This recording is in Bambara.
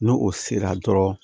N'o o sera dɔrɔn